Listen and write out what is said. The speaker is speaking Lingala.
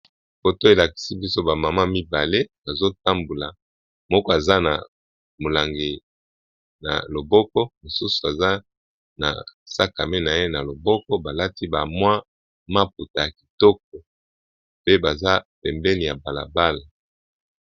Foto elakisi biso ba mama mibale bazo tambula, moko aza na molangi na loboko mosusu aza na sac a main na ye na loboko ba lati ba mwa maputa ya kitoko pe baza pembeni ya bala bala.